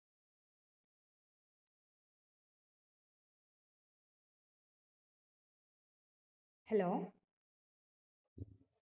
Hello